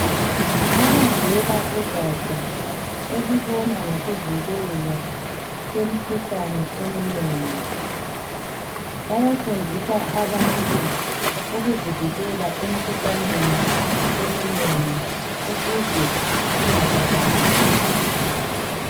Abavela kugatsha elibona ngokuvikelwa kwemikhuhlane eminengi bayafundisa abantu ukuzivikela emikhuhlaneni eminengi ukuze ingababambi.